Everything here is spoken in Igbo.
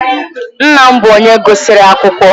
Nna m bụ onye gụsịrị akwụkwọ